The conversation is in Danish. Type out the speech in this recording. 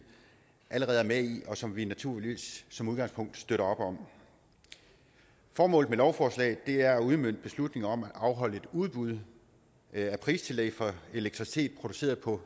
allerede er med i og som vi naturligvis som udgangspunkt støtter op om formålet med lovforslaget er at udmønte en beslutning om at afholde et udbud af pristillæg for elektricitet produceret på